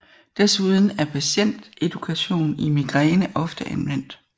Desuden er patient edukation i migræne ofte anvendt